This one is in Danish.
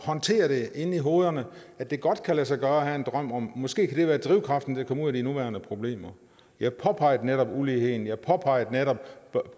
håndtere det inde i hovedet at det godt kan lade sig gøre at have en drøm måske kan det være drivkraften til at komme ud af de nuværende problemer jeg påpegede netop uligheden jeg påpegede netop